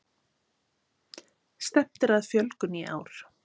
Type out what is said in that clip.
Stefnt er að fjölgun í ár